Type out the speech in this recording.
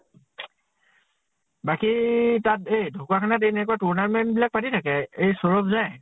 বাকী তাত এ ঢ্কুৱাখানাত এনেকুৱা tournament বিলাক পাতি থাকে। এই সৌৰভ যায়।